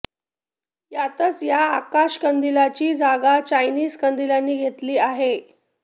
यातच या आकाश कंदिलांची जागा चायनीज कंदिलांनी घेतली आहे